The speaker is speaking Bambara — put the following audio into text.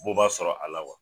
Bɔ b'a sɔrɔ a la wa?